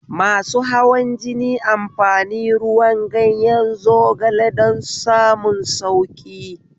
Masu hawan jini amfani ruwan ganyen zogale don samun sauƙi